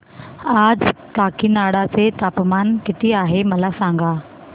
आज काकीनाडा चे तापमान किती आहे मला सांगा